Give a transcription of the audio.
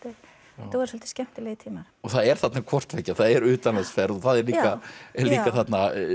þetta voru svolítið skemmtilegir tíma það er þarna hvort tveggja það er utanlandsferð og það er líka þarna